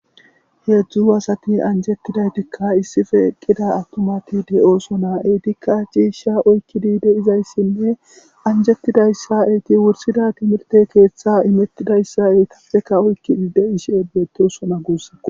heedzdzu asati anjettidaytikka issife eqqida attumati de7ooso naa7etikka ciisha oykkidi de izayssinne anjettidayssa eyti wursida timirte keeththe imettidayssa eytappeka oykki diide ishie beetosona guussa